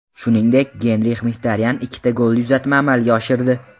Shuningdek, Genrix Mxitaryan ikkita golli uzatma amalga oshirdi.